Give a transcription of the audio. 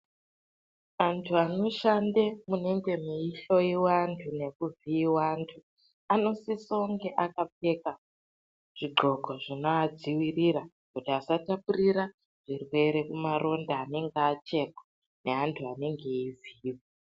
Antu anoshande munenge muchihloyiwa antu nokuvhiyiwe antu anosisonge akapfeka zvidxoko zvinovadzivirira kuti asatapurira kuzvirwere kubva kumaronda anenge achekwa neantu anenge eivhiyiwa.